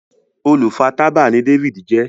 olu fà tábà ní David jé.